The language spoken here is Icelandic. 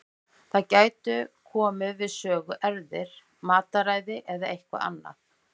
Þarna gætu komið við sögu erfðir, mataræði eða eitthvað annað.